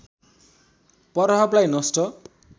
प्रभावलाई नष्ट